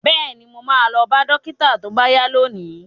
Bẹ́ẹ̀ni, mo ma lọ bá dókítà tó bá yá lónìí